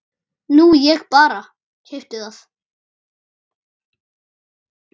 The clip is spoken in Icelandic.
Nú ég bara. keypti það.